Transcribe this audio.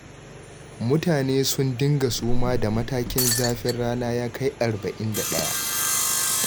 Mutane sun dinga suma da matakin zafin rana ya kai arba'in da ɗaya.